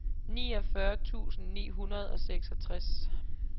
niogfyrre tusind ni hundrede og seksogtres